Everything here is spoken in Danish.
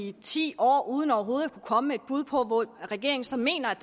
i ti år uden overhovedet at kunne komme med et bud på hvor regeringen så mener